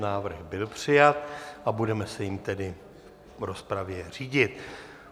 Návrh byl přijat a budeme se jím tedy v rozpravě řídit.